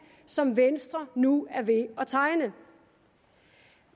som venstre nu er ved at tegne